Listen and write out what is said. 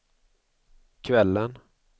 kvällen